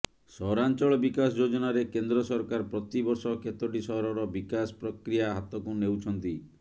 ସହରାଞ୍ଚଳ ବିକାଶ ଯୋଜନାରେ କେନ୍ଦ୍ର ସରକାର ପ୍ରତି ବର୍ଷ କେତୋଟି ସହରର ବିକାଶ ପ୍ରକ୍ରିୟା ହାତକୁ ନେଉଛନ୍ତି